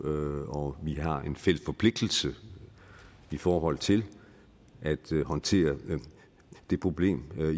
og vi har en fælles forpligtelse i forhold til at håndtere det problem